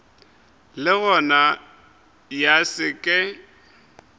le gona ya se ke